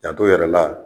Janto yɛrɛ la